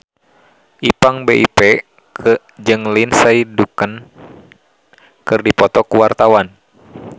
Ipank BIP jeung Lindsay Ducan keur dipoto ku wartawan